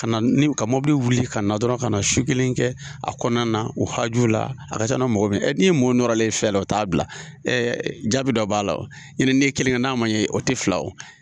Ka niw ka mɔbili wuli ka na dɔrɔn ka su kelen kɛ a kɔnɔna na u haju la a ka ca na mɔgɔ min, ɛ ni ye mɔgɔw nɔɔrɔlen ye fɛn la o t'a bila jaabi dɔ b'a la o. Ɲɔtɛ ni ye kelen kɛ n'a ma ɲɛ o tɛ fila o.